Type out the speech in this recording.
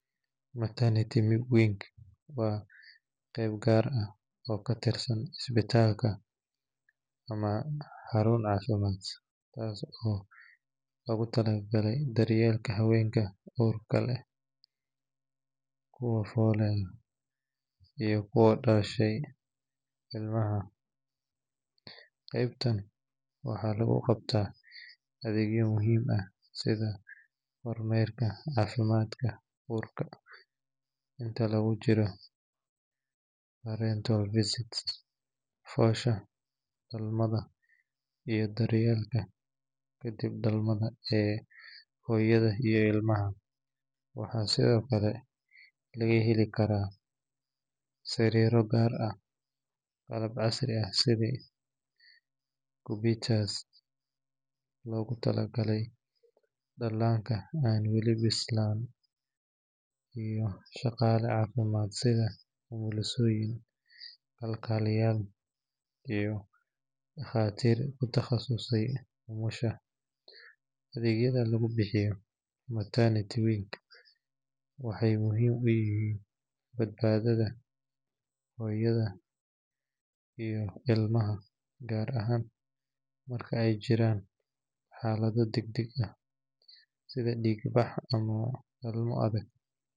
Maternity wing waa qayb gaar ah oo ka tirsan isbitaalka ama xarun caafimaad, taas oo loogu talagalay daryeelka haweenka uurka leh, kuwa fooleya, iyo kuwa dhashay ilmaha. Qaybtan waxaa lagu qabtaa adeegyo muhiim ah sida kormeerka caafimaadka uurka inta lagu jiro prenatal visits, foosha, dhalmada, iyo daryeelka kadib dhalmada ee hooyada iyo ilmaha. Waxaa sidoo kale laga heli karaa sariiro gaar ah, qalab casri ah sida incubators loogu talagalay dhallaanka aan weli bislaan, iyo shaqaale caafimaad sida umulisooyin, kalkaaliyayaal, iyo dhakhaatiir ku takhasusay umusha. Adeegyada lagu bixiyo maternity wing waxay muhiim u yihiin badbaadada hooyada iyo ilmaha, gaar ahaan marka ay jiraan xaalado degdeg ah sida dhiig-bax ama dhalmo adag.